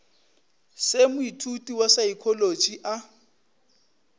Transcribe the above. se moithuti wa saekholotši a